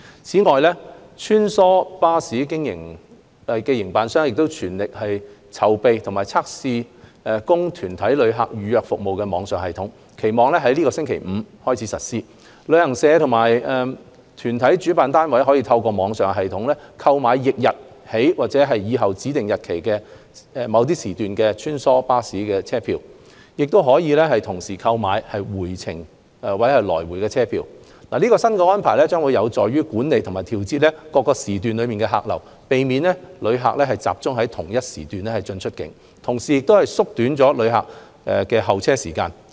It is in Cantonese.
此外，穿梭巴士營辦商正全力籌備及測試供團體旅客預約服務的網上系統，期望於本周五起實施。旅行社或團體主辦單位可透過網上系統，購買翌日起或以後的指定日期及時段的穿梭巴士車票，亦可同時購買回程或來回車票。新安排將有助管理及調節各時段的客流，避免團體旅客集中在同一時段進出境，同時縮短旅客的候車時間。